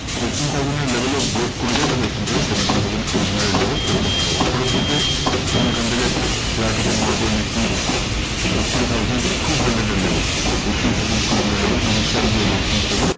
Eighteen thousand এর level ও break করে দেয় তাহলে এখান থেকে seventeen thousand eight hundred level open হবে। ওপরের দিকে ধরুন এখান থেকে flat open হওয়ার পরে Nifty eighteen thousand two hundred এর level eighteen thousand two hundred level initial যে, resistance থাকে